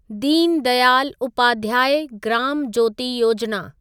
Deen Dayal Upadhyaya Gram Jyoti Yojana